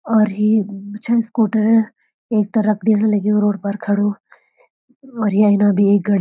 और ये छ स्कूटर एक तरफ देखणा लग्युं रोड पर खड़ु और येना भी एक गड़ी।